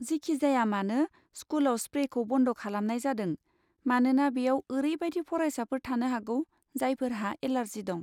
जिखिजायामानो, स्कुलाव स्प्रेखौ बन्द खालामनाय जादों, मानोना बेयाव ओरैबायदि फरायसाफोर थानो हागौ जायफोरहा एलार्जि दं।